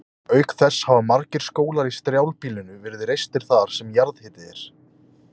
Auk þess hafa margir skólar í strjálbýlinu verið reistir þar sem jarðhiti er.